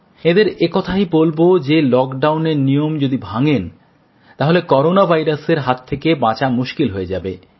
এঁদের একথাই বলব যে লকডাউনের নিয়ম যদি ভাঙেন তাহলে করোনা ভাইরাসের হাত থেকে বাঁচা মুশকিল হয়ে যাবে